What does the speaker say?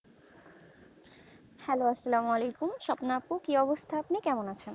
hello আসসালাম ওয়ালাইকুম স্বপ্না আপু কি অবস্থা আপনি কেমন আছেন